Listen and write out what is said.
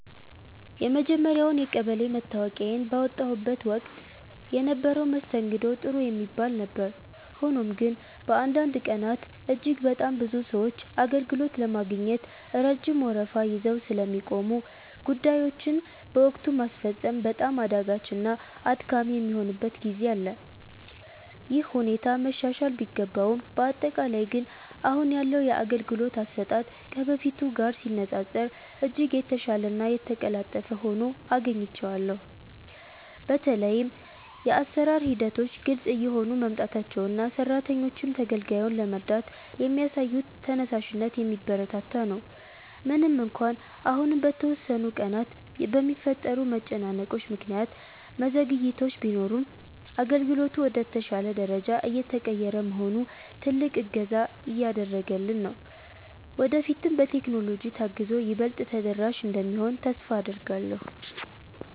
የመጀመርያውን የቀበሌ መታወቂያዬን ባወጣሁበት ወቅት የነበረው መስተንግዶ ጥሩ የሚባል ነበር። ሆኖም ግን፣ በአንዳንድ ቀናት እጅግ በጣም ብዙ ሰዎች አገልግሎት ለማግኘት ረጅም ወረፋ ይዘው ስለሚቆሙ፣ ጉዳዮችን በወቅቱ ማስፈጸም በጣም አዳጋችና አድካሚ የሚሆንበት ጊዜ አለ። ይህ ሁኔታ መሻሻል ቢገባውም፣ በአጠቃላይ ግን አሁን ያለው የአገልግሎት አሰጣጥ ከበፊቱ ጋር ሲነፃፀር እጅግ የተሻለና የተቀላጠፈ ሆኖ አግኝቼዋለሁ። በተለይም የአሰራር ሂደቶች ግልጽ እየሆኑ መምጣታቸውና ሰራተኞቹም ተገልጋዩን ለመርዳት የሚያሳዩት ተነሳሽነት የሚበረታታ ነው። ምንም እንኳን አሁንም በተወሰኑ ቀናት በሚፈጠሩ መጨናነቆች ምክንያት መዘግየቶች ቢኖሩም፣ አገልግሎቱ ወደ ተሻለ ደረጃ እየተቀየረ መሆኑ ትልቅ እገዛ እያደረገልን ነው። ወደፊትም በቴክኖሎጂ ታግዞ ይበልጥ ተደራሽ እንደሚሆን ተስፋ አደርጋለሁ።